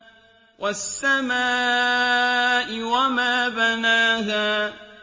وَالسَّمَاءِ وَمَا بَنَاهَا